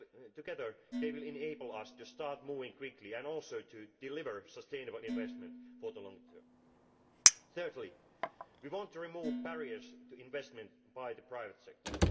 Together they will enable us to start moving quickly and also to deliver sustainable investment for the long term. Thirdly, we want to remove barriers to investment by the private sector.